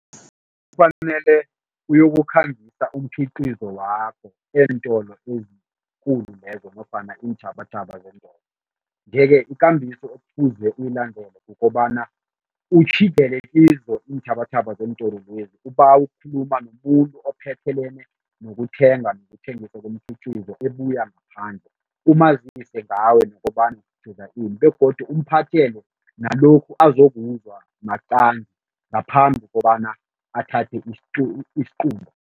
Kufanele uyokukhangisa umkhiqizo wakho eentolo ezikulu lezo nofana iinthabathaba zeentolo. Nje-ke ikambiso ekufuze uyilandele kukobana utjhidele kizo iinthabathaba zeentolwezi, ubawe ukukhuluma nomuntu ophethelene nokuthenga nokuthengisa komkhiqizo ebuya ngaphandle, umazise ngawe nokobana ini begodu umphathele nalokhu azokuzwa maqangi ngaphambi kobana athathe isiqunto.